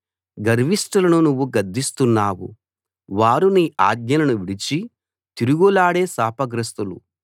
గర్విష్ఠులను నువ్వు గద్దిస్తున్నావు వారు నీ ఆజ్ఞలను విడిచి తిరుగులాడే శాపగ్రస్తులు